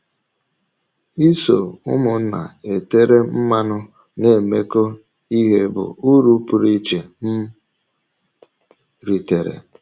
Isọ ụmụnna e tèrè mmanụ na-emekọ ihe bụ ùrụ pụrụ iche m rìtèrè.